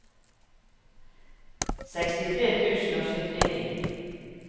sekstitre tusen og syttini